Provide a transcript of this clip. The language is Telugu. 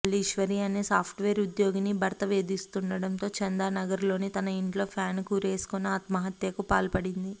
మల్లీశ్వరి అనే సాఫ్ట్వేర్ ఉద్యోగిని భర్త వేధిస్తుండటంతో చందానగర్ లోని తన ఇంట్లో ఫ్యాన్ కు ఉరివేసుకుని ఆత్మహత్యకు పాల్పడింది